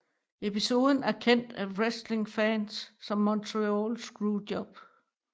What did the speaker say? Episoden er kendt af wrestlingfans som Montreal Screwjob